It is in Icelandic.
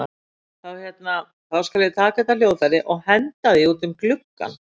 Þá hérna. þá skal ég taka þetta hljóðfæri og henda því út um gluggann!